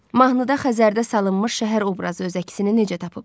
Mahnıda Xəzərdə salınmış şəhər obrazı öz əksini necə tapıb?